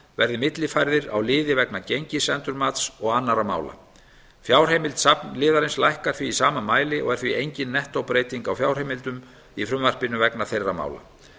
verði millifærður á liði vegna gengisendurmats og annarra mála fjárheimild safnliðarins lækkar því í sama mæli og er því engin nettóbreyting á fjárheimildum í frumvarpinu vegna þeirra mála